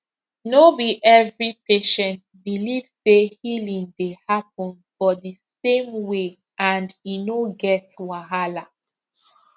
no be every patient believe say healing dey happen for di same way and e no get wahala